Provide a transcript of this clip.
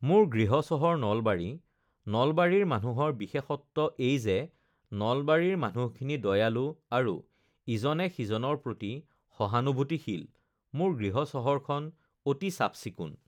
মোৰ গৃহ চহৰ নলবাৰী নলবাৰীৰ মানুহৰ বিশেষত্ব এই যে নলবাৰীৰ মানুহখিনি দয়ালু আৰু ইজনে-সিজনৰ প্ৰতি সহানুভূতিশীল মোৰ গৃহ চহৰখন অতি চাফ-চিকুণ